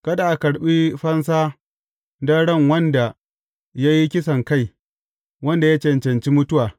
Kada a karɓi fansa don ran wanda ya yi kisankai, wanda ya cancanci mutuwa.